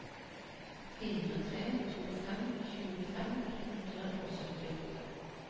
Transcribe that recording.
fire tre to fem tjue fem hundre og syttiåtte